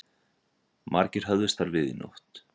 Margir höfðust þar við í nótt